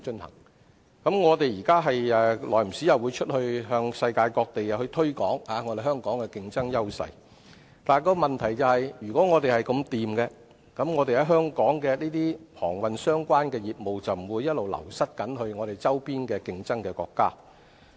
當局現在不時會前往世界各地推廣香港的競爭優勢，但如果我們的形勢確實這麼好，本港與航運相關的業務便不會不斷流失至我們周邊的競爭國家。